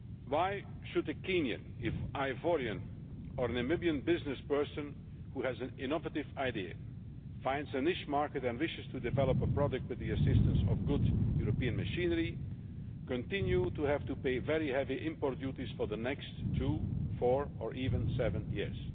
Why should a Kenyan, an Ivorian or a Namibian business person who has an innovative idea, finds a niche market and wishes to develop a product with the assistance of good European machinery, continue to have to pay very heavy import duties for the next two, four or even seven years?